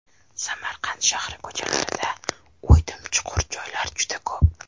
Samarqand shahri ko‘chalarida o‘ydim-chuqur joylar juda ko‘p.